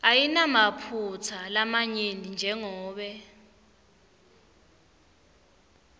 ayinamaphutsa lamanyenti jengobe